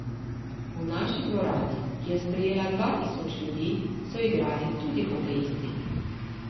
V naši dvorani, ki je sprejela dva tisoč ljudi, so igrali tudi hokejisti.